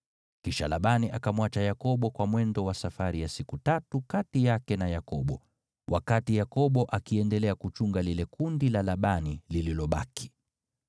Kisha Labani akamwacha Yakobo kwa mwendo wa safari ya siku tatu kati yake na Yakobo, wakati Yakobo akiendelea kuchunga lile kundi la Labani lililobaki.